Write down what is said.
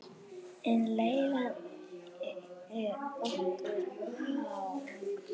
En leigan er nokkuð há.